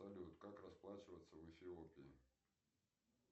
салют как расплачиваться в эфиопии